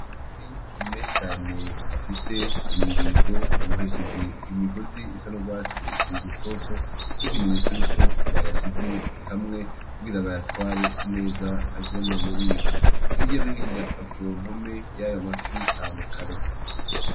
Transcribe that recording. Amafi menshi cane afise imirizo abohesheje imigozi isa n,urwatsi rutoto nkikimenyetso yuko bayashize hamwe kugira bayatware neza aje mububiko hirya no hirya kumpome yayo mafi hari amakaro.